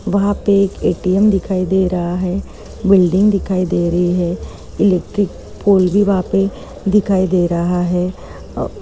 वहाँपे एक ए.टी.एम दिखाई दे रहा है बिल्डिंग दिखाई दे रही है इलेक्ट्रिक पोल भी वहाँ पे दिखाई दे रहा है अ --